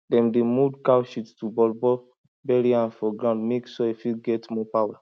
dem dey mold cow shit to ballball bury am for ground mek soil fit get more power